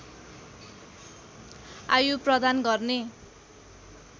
आयु प्रदान गर्ने